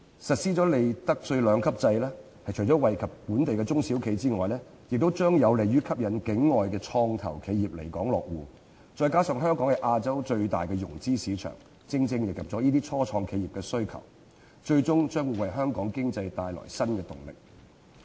實施利得稅兩級制除了惠及本地中小企外，亦將有利於吸引境外創投企業來港落戶，再加上香港是亞洲最大的融資市場，正正迎合了初創企業的需求，最終將會為香港經濟帶來新動力。